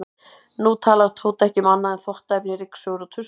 Nú talar Tóti ekki um annað en þvottaefni, ryksugur og tuskur.